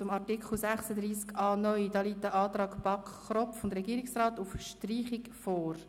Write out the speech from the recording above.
Zu Artikel 36a (neu) liegt ein Antrag von BaK und Regierungsrat auf Streichung vor.